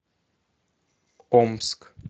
омск